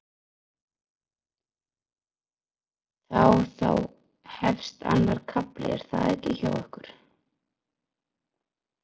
Þá þá hefst annar kafli er það ekki hjá ykkur?